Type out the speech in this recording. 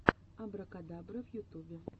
абракадабра в ютубе